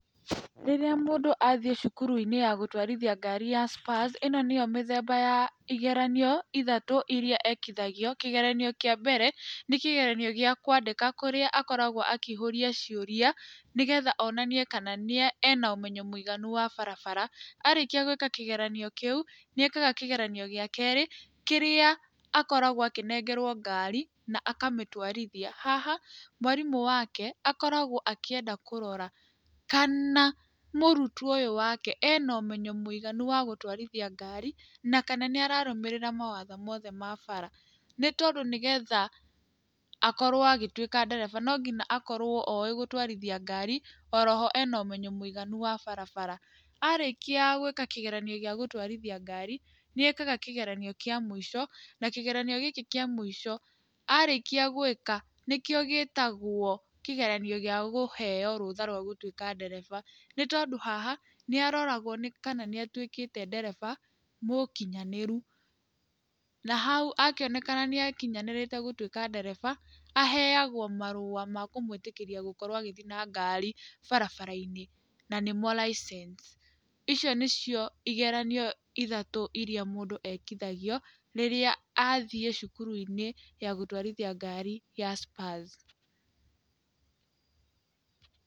Rĩrĩa mũndũ athiĩ cukuru-inĩ ya gũtwarithia ngari ya Spurs, ĩno nĩyo mĩthemba ya igeranio ithatũ iria ekithagio. Kĩgeranio kĩa mbere, nĩ kĩgeranio gĩa kũandĩka kĩrĩa akoragũo akĩihũria ciũria, nĩ geetha onanie kana nĩe, ena ũmenyi mũiganu wa barabara. Arĩkia gwĩka kĩgeranio kĩu, nĩ ekaga kĩgeranio gĩa keerĩ, kiria akoragwo akĩnengerwo ngaari akamĩtwarithia. Haha mwarimũ waake akoragwo akĩenda kũrora kana mũrutwo ũyũ waake ena ũmenyo mũiganu wa gũtũwarithia ngaari, na kana nĩararũmĩrĩra mawatho mothe ma bara. Nĩ tondũ nĩ geetha akorwo agĩtwĩka ndereba no nginya akorwo oĩ gũtwarithia ngaari, o ho ena ũmenyo mũiganu wa barabara. Arĩkia gwĩka kĩgeranio gĩa gũtwarithia ngaari, nĩekaga kĩgeranio kĩa mũico, na kĩgeranio gĩkĩ kĩa mũico, arĩkia gwĩka, nĩkĩo gĩtwagwo kĩgeranio gĩa kũheo rũtha rwa gũtwĩka ndereba. Nĩ tondũ haha, nĩaroragwo nĩ kana nĩatwĩkĩte ndereba mũkinyanĩrũ. Na hau akĩonekana nĩakinyanĩrĩte gũtwĩka ndereba, aheagwo marũa ma kũmwĩtĩkĩria gũkorwo agĩthiĩ na ngari barabara-inĩ, na nĩmo raicenci. Icio nĩcio igeranio ithatũ iria mũndũ ekithagio rĩrĩa athiĩ cukuru-inĩ ya gũtwarithia ngari ya Spurs.